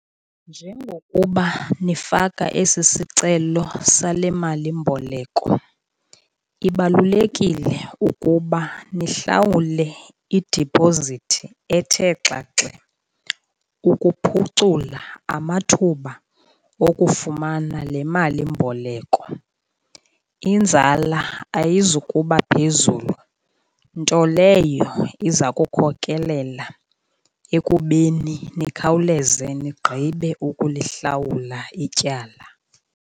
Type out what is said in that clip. Njengokuba nifaka esi sicelo sale malimboleko ibalulekile ukuba nihlawule idiphozithi ethe xaxe, ukuphucula amathuba okufumana le malimboleko. Inzala ayizukuba phezulu nto leyo iza kukhokelela ekubeni nikhawuleze nigqibe ukulihlawula ityala.